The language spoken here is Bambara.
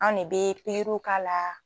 An de bɛ pikiriw k'a la,